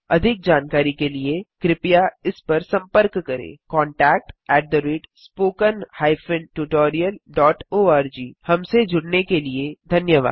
अधिक जानकारी के लिए कृपया इस पर सम्पर्क करें contactspoken tutorialorg हमसे जुड़ने के लिए धन्यवाद